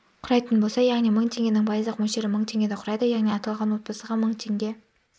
құрайтын болса яғни мың теңгенің пайыздық мөлшері мың теңгені құрайды яғни аталған отбасыға мың теңге